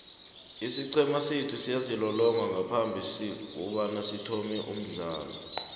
isiqhema sethu siyazilolonga ngaphambikokuthoma umdlalo